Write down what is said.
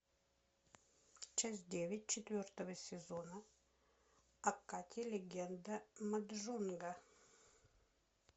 часть девять четвертого сезона акаги легенда маджонга